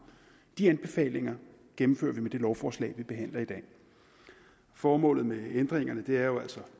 de anbefalinger gennemfører vi med det lovforslag vi behandler i dag formålet med ændringerne er jo altså